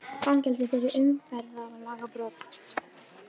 Fangelsi fyrir umferðarlagabrot